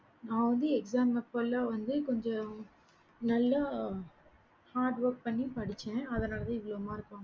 நான் வந்து exam அப்பலாம் வந்து கொஞ்சம் நல்ல hard work பண்ணி படிச்சேன் அதான் எவ்வளோ mark